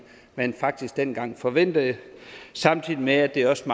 man faktisk dengang forventede samtidig med at det også